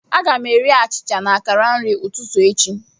Aga m eri achịcha na akara nri ụtụtụ echi.